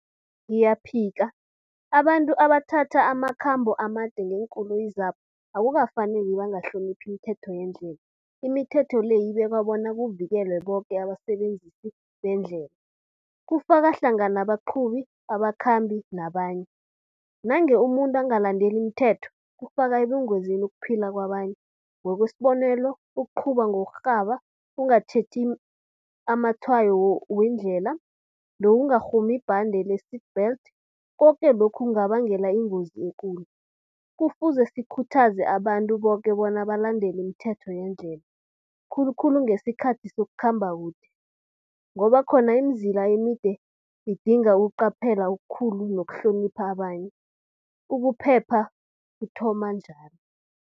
Ngiyaphika, abantu abathatha amakhambo amade ngeenkoloyi zabo akukafaneli bangahloniphi imithetho yendlela. Imithetho le ibekwa bona kuvikelwe boke abasebenzisi bendlela. Kufaka hlangana abaqhubi, abakhambi nabanye. Nange umuntu angalandeli imithetho kufaka ebungozini ukuphila kwabanye. Ngokwesibonelo, ukuqhuba ngokurhaba, ukungatjheji amatshwayo weendlela nokungarhumi ibhande le-seat belt. Koke lokhu kungabangela ingozi ekulu. Kufuze sikhuthaze abantu boke bona balandele imithetho yeendlela. Khulukhulu ngesikhathi sokukhamba kude ngoba khona imizila emide idinga ukuqaphela okukhulu nokuhlonipha abanye. Ukuphepha kuthoma njalo.